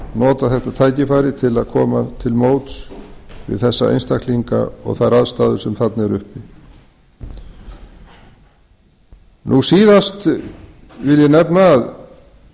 nota þetta tækifæri til að koma til móts við þessa einstaklinga og þær aðstæður sem þarna eru uppi síðast vil ég nefna að